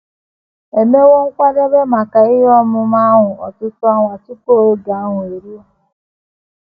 E mewo nkwadebe maka ihe omume ahụ ọtụtụ ọnwa tupu oge ahụ eruo.